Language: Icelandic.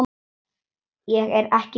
Ég er ekki blíð.